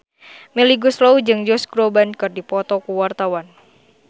Melly Goeslaw jeung Josh Groban keur dipoto ku wartawan